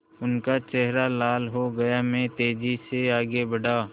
उनका चेहरा लाल हो गया मैं तेज़ी से आगे बढ़ा